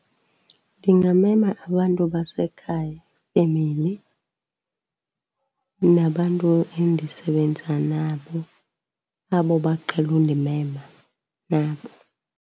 Ndingamema abantu basekhaya ifemeli, nabantu endisebenza nabo abo baqhele undimema nabo.